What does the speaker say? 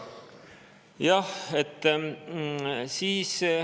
Miks mitte, jah.